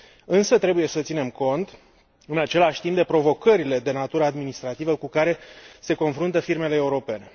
Însă, trebuie să ținem cont în același timp de provocările de natură administrativă cu care se confruntă firmele europene.